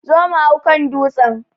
Zo mu hau kan dutsen!